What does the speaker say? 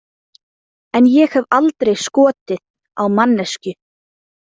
En ég hef aldrei skotið á manneskju.